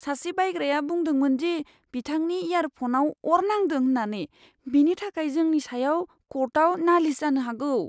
सासे बायग्राया बुंदोंमोन दि बिथांनि इयारफ'नाव अर नांदों होननानै। बेनि थाखाय जोंनि सायाव कर्टआव नालिस जानो हागौ।